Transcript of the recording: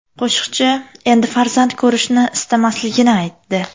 Qo‘shiqchi endi farzand ko‘rishni istamasligini aytdi.